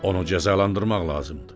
Onu cəzalandırmaq lazımdır.”